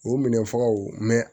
O minɛ fagaw